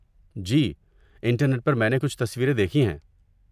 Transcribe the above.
جی، internet پر میں نے کچھ تصویریں دیکھی ہیں۔